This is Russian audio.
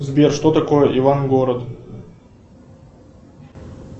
сбер что такое иван город